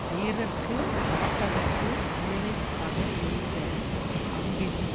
வீரர்க்குக் காட்டகத்து முயலை பட எய்த அம்பினும்